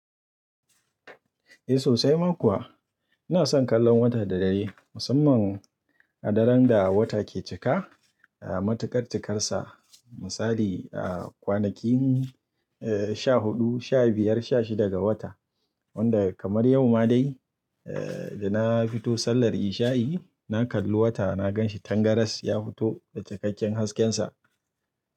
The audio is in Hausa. Eh sosai ma kuwa. Ina son kallon wata da dare musamman a daren da wata ke cika matuƙar cikarsa. Misali a kwanakin sha huɗu, sha biyar, sha shida ga wata. Wanda kamar yau ma dai da na fito sallar isha'i, na kalli wata na gan shi tangaras ya fito da cikakken haskensa.